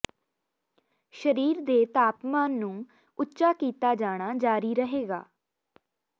ਸਰੀਰ ਦੇ ਤਾਪਮਾਨ ਨੂੰ ਉੱਚਾ ਕੀਤਾ ਜਾਣਾ ਜਾਰੀ ਰਹੇਗਾ